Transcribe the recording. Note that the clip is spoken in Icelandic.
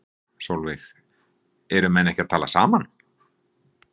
Sólveig: Eru menn ekki að tala saman?